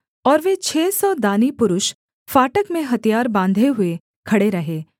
और वे छः सौ दानी पुरुष फाटक में हथियार बाँधे हुए खड़े रहे